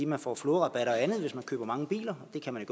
man får flåderabat og andet hvis man køber mange biler hvilket man